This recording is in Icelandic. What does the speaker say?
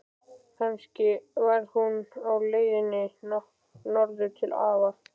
Kannski var hún á leiðinni norður til afa.